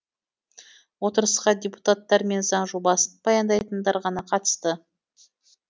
отырысқа депутаттар мен заң жобасын баяндайтындар ғана қатысты